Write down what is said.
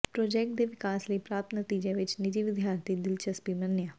project ਦੇ ਵਿਕਾਸ ਲਈ ਪ੍ਰਾਪਤ ਨਤੀਜੇ ਵਿਚ ਨਿੱਜੀ ਵਿਦਿਆਰਥੀ ਦਿਲਚਸਪੀ ਮੰਨਿਆ